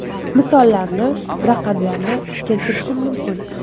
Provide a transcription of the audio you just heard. Misollarni, raqamlarni keltirishim mumkin.